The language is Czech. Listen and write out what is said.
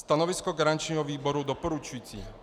Stanovisko garančního výboru doporučující.